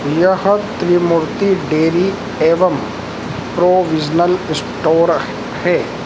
यह त्रिमूर्ति डेयरी एवम् provisional store है।